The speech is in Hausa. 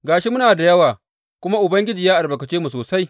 Ga shi muna da yawa kuma Ubangiji ya albarkace mu sosai.